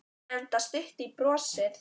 Enda stutt í brosið.